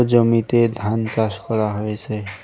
জমিতে ধান চাষ করা হয়েছে।